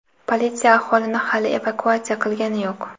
Politsiya aholini hali evakuatsiya qilgani yo‘q.